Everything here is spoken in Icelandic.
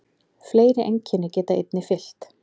Fleiri einkenni geta einnig fylgt.